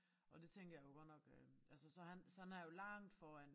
Og det tænker jeg jo godt nok øh altså så han så han er jo langt foran